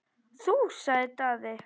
Þú, sagði Daði.